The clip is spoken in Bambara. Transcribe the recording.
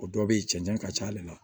O dɔ bɛ ye cɛncɛn ka ca ale la